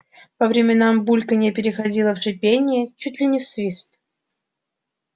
по временам бульканье переходило в шипение чуть ли не в свист